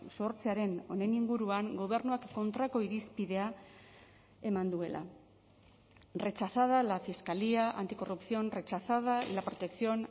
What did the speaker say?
sortzearen honen inguruan gobernuak kontrako irizpidea eman duela rechazada la fiscalía anticorrupción rechazada la protección